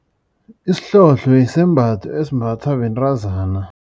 Isihlohlo yisembatho esimbathwa bentazana.